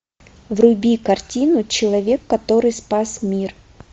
вруби картину человек который спас мир